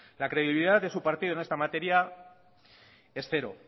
la credibilidad en su partido de esta materia es cero